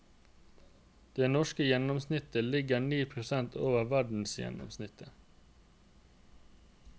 Det norske gjennomsnittet ligger ni prosent over verdensgjennomsnittet.